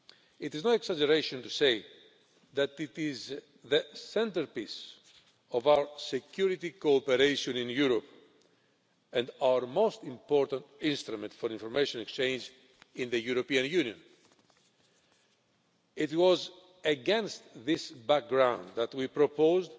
It is no exaggeration to say that it is the centrepiece of our security cooperation in Europe and our most important instrument for information exchange in the European Union. It was against this background that we proposed